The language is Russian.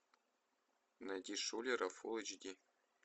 найти шулера фулл эйч ди